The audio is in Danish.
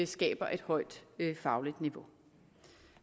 skaber et højt fagligt niveau